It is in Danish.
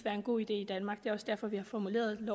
en god idé i danmark det er også derfor at vi har formuleret